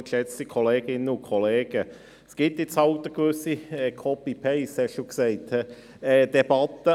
Es gibt nun mal eine gewisse «Copy-and-paste-Debatte», wie Sie das genannt haben.